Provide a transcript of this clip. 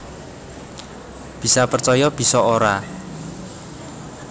Bisa percaya bisa ora